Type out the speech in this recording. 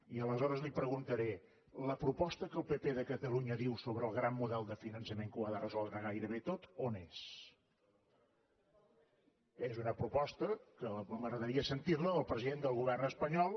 i aleshores li preguntaré la proposta que el pp de catalunya diu sobre el gran model de finançament que ho ha de resoldre gairebé tot on és és una proposta que m’agradaria sentir la del president del govern espanyol